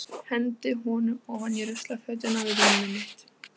Hendi honum ofan í ruslafötuna við rúmið mitt.